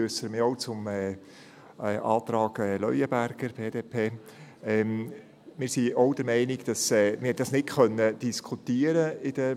Wir sind auch der Meinung, dass wir diesen Antrag in der BaK nicht diskutieren konnten.